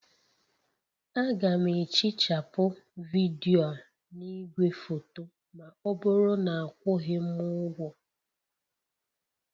Aga m ehichapụ vidiyo a na igwefoto ma ọ bụrụ na akwụghị m ụgwọ